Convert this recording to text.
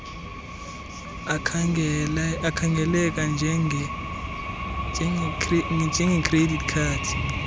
akhangeleka njengecredit card